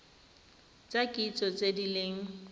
tsa kitso tse di leng